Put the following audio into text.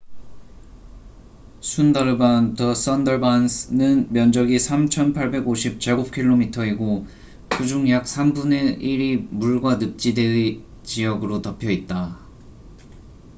순다르반the sundarbans은 면적이 3,850 km²이고 그중 약 3분의 1이 물과 늪지대 지역으로 덮여 있다